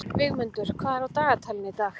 Vígmundur, hvað er á dagatalinu í dag?